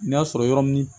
N'a sɔrɔ yɔrɔ ni